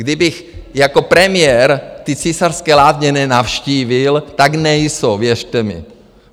Kdybych jako premiér ty Císařské lázně nenavštívil, tak nejsou, věřte mi.